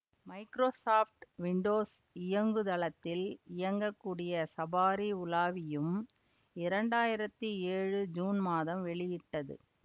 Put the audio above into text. Microsoft Windows இயங்குதளத்தில் இயங்ககூடிய Safari உலாவியும் இரண்டு ஆயிரத்தி ஏழு ஜூன் மாதம் வெளியிட்டது